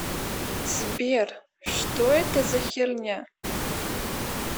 сбер что это за херня